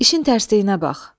İşin tərsinə bax.